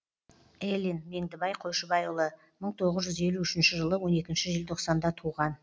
элин меңдібай қойшыбайұлы мың тоғыз жүз елу үшінші жылы он екінші желтоқсанда туған